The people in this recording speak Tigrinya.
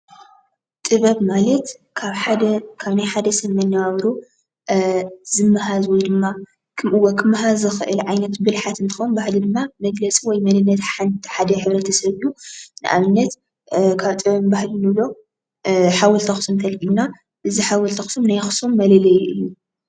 ጥበብ ማለት ካብ ሓደ ካብ ናይ ሓደ ሰብ መነባብሮ ዝመሃዝ ወይ ድማ ክመሃዝ ዝኽእል ብልሓት እንትኾን ባህሊ ድማ መግለፂ ወይ መንነት ሓንቲ ሓደ ሕ/ሰብ እዩ፡፡ ንኣብነት ካብ ጥበብን ባህልን ንብሎ ሓወልቲ ኣኽሱም እንተልዕልና እዚ ሓወልቲ ኣኽሱም ናይ ኣኽሱም መለለዩ እዩ፡፡